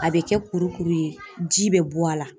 A bɛ kɛ kurukuru ye ji bɛ bɔ a la